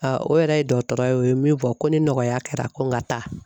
o yɛrɛ ye dɔgɔtɔrɔ ye o ye min fɔ ko ni nɔgɔya kɛra ko n ka taa.